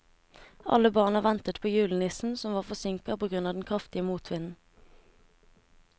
Alle barna ventet på julenissen, som var forsinket på grunn av den kraftige motvinden.